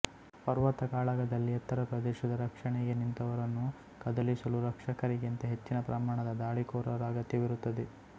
ಪರ್ವತ ಕಾಳಗದಲ್ಲಿ ಎತ್ತರ ಪ್ರದೇಶದ ರಕ್ಷಣೆಗೆ ನಿಂತವರನ್ನು ಕದಲಿಸಲು ರಕ್ಷಕರಿಗಿಂತ ಹೆಚ್ಚಿನ ಪ್ರಮಾಣದ ದಾಳಿಕೋರರ ಅಗತ್ಯವಿರುತ್ತದೆ